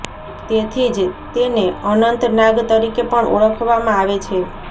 તેથી જ તેને અનંતનાગ તરીકે પણ ઓળખવામાં આવે છે